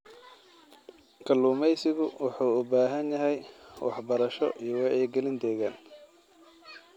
Kalluumeysigu wuxuu u baahan yahay waxbarasho iyo wacyi-gelin deegaan.